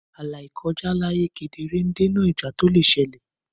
ààlà ìkọjá ààyè kedere ń dènà ìjà tó lè ṣẹlẹ̀.